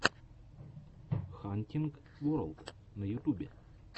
хантинг ворлд на ютюбе